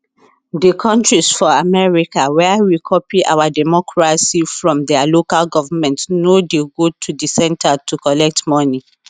di counties for america wia we copy our democracy from dia local goments no dey go to di centre to collect money